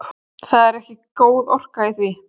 Það er ekki góð orka í því.